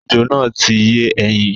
Ejò náà ti ń yé ẹyin.